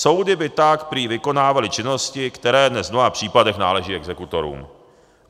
Soudy by tak prý vykonávaly činnosti, které dnes v mnoha případech náleží exekutorům.